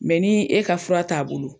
Mɛ ni e ka fura t'a bolo.